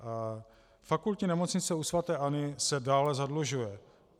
Fakultní nemocnice u sv. Anny se dále zadlužuje.